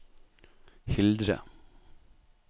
Hildre